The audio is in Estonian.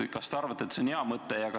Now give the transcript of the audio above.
Kas te arvate, et see on hea mõte?